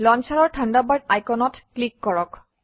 লঞ্চাৰৰ Thunderbird আইকনত click কৰক